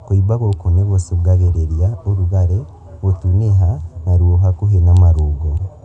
Kũimba gũkũ nĩ gũcũngagĩrĩria ũrugarĩ, gũtunĩha, na ruo hakuhĩ na marũngo